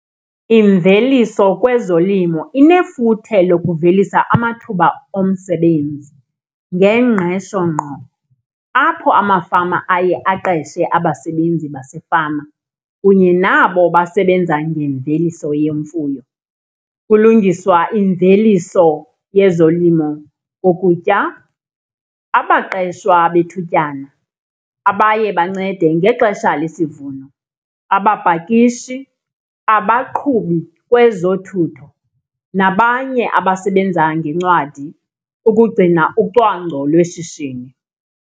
Imveliso kwezolimo inefuthe lokuvelisa amathuba omsebenzi ngengqesho ngqo apho amafama aye aqeshe abasebenzi basefama kunye nabo basebenza ngemveliso yemfuyo. Kulungiswa imveliso yezolimo kokutya, abaqeshwa bethutyana abaye bancede ngexesha lesivuno, abapakishi, abaqhubi kwezothutho, nabanye abasebenza ngeencwadi ukugcina ucwangco lweshishini.